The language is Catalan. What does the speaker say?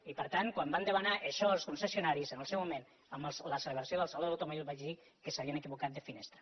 i per tant quan van demanar això els concessionaris en el seu moment amb la celebració del saló de l’au·tomòbil jo vaig dir que s’havien equivocat de finestra